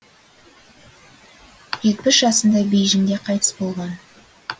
жетпіс жасында бейжіңде қайтыс болған